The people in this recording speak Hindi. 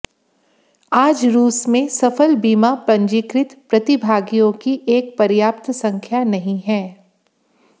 आज रूस में सफल बीमा पंजीकृत प्रतिभागियों की एक पर्याप्त संख्या नहीं है